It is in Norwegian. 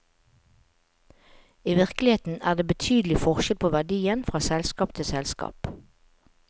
I virkeligheten er det betydelig forskjell på verdien fra selskap til selskap.